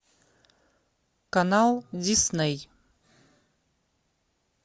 канал дисней